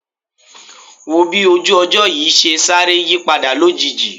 Wò ó bí ojú ọjọ́ yìí ṣe sáré yípadà lójijì